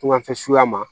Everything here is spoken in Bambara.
Kunkanfɛsuya ma